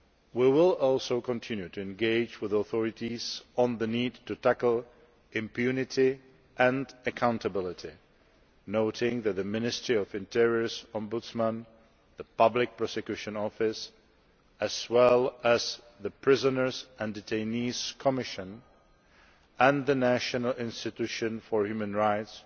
We will also continue to engage with the authorities on the need to tackle impunity and accountability, noting that the Ministry of Interior's Ombudsman, the Public Prosecution Office, as well as the Prisoners and Detainees Commission and the National Institution for Human Rights